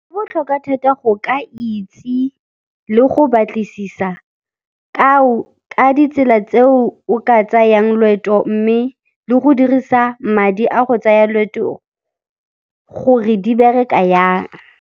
Go botlhokwa thata go ka itse le go batlisisa ka ditsela tseo o ka tsayang loeto mme le go dirisa madi a go tsaya loeto gore di bereka jang.